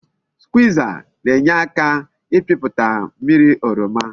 Skwiza na-enyeaka n'ipiputa mmiri oroma